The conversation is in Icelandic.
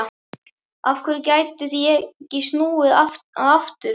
Af hverju gætu ég ekki snúið að aftur?